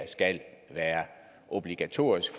skal være obligatorisk